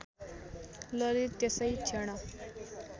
ललित त्यसै क्षण